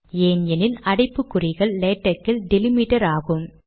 ஏன் எனில் அடைப்புக்குறிகள் லேடக் இல் டிலிமிடர் ஆகும்